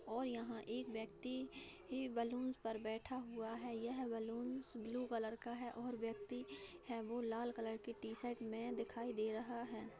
और यहाँ एक व्यक्ति ही बलुन पर बैठा हुआ है| यह बलून्स ब्लू कलर का है और व्यक्ति है| वो लाल कलर की टी-शर्ट में दिखाई दे रहा है।